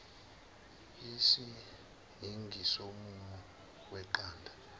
isiyingi somumo weqanda